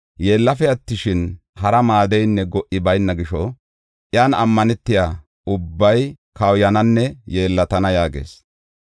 yeellafe attishin, hara maaddeynne go77i bayna gisho iyan ammanetiya ubbay kawuyananne yeellatan” yaagees.